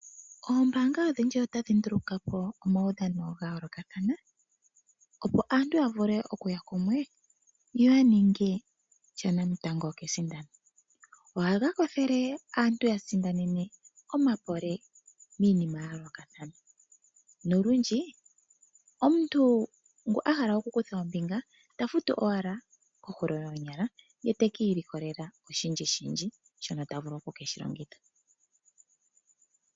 oombanga odhindji otadhinduluka po omaudhano gaayoolokathana, opo aantu yavule okuya kumwe yoyanininge shanamutango kesindano, ohaga kwathele aantu yasindanene omapole miinima yayoolokathana nolundji omuntu ngu ahala okukutha ombinga tafutu owala kohulo yoonyala ye taka ilikolele oshindji shindji shono tavulu oku keshi longitha.